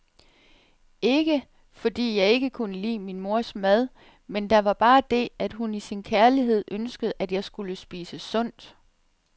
Ikke, fordi jeg ikke kunne lide min mors mad, men der var bare det, at hun i sin kærlighed ønskede, at jeg skulle spise sundt.